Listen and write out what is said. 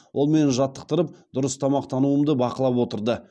ол мені жаттықтырып дұрыс тамақтануымды бақылап отырды